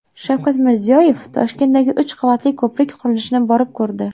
Shavkat Mirziyoyev Toshkentdagi uch qavatli ko‘prik qurilishini borib ko‘rdi .